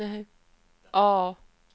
A